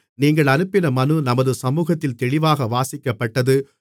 நீங்கள் அனுப்பின மனு நமது சமுகத்தில் தெளிவாக வாசிக்கப்பட்டது